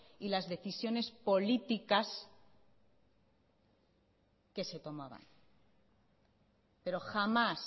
y las decisiones políticas que se tomaban pero jamás